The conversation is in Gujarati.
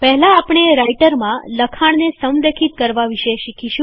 પહેલા આપણે રાઈટરમાં લખાણને સંરેખિત કરવા વિશે શીખીશું